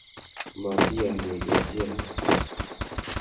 Mati yanie kee chi ake.